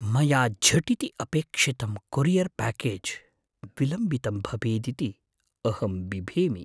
मया झटिति अपेक्षितं कोरियर् प्याकेज् विलम्बितं भवेदिति अहं बिभेमि।